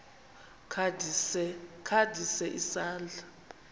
kha ndise isandla